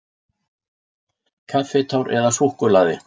Kaffitár eða súkkulaði.